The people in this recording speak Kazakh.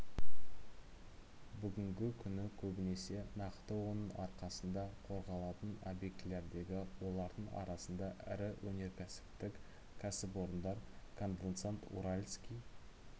бүгінгі күні көбінесе нақты оның арқасында қорғалатын объектілердегі олардың арасында ірі өнеркәсіптік кәсіпорындар конденсат уральский